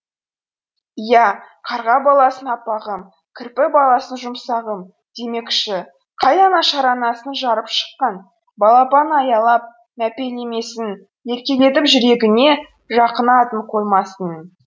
иә қарға баласын аппағым кірпі баласын жұмсағым демекші қай ана шаранасын жарып шыққан балапанын аялап мәпелемесін еркелетіп жүрегіне жақын атын қоймасын